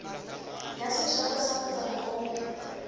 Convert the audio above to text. ya seterata sa motsana oo